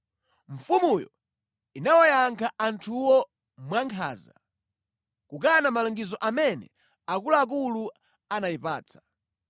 Mfumuyo inawayankha anthuwo mwankhanza. Kukana malangizo amene akuluakulu anayipatsa.